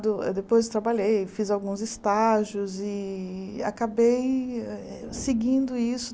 Do depois trabalhei, fiz alguns estágios e acabei eh eh seguindo isso.